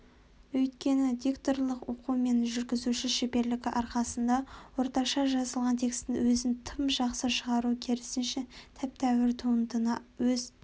өйткені дикторлық оқу мен жүргізуші шеберлігі арқасында орташа жазылған текстің өзін тым жақсы шығару керісінше тәп-тәуір туындыны өз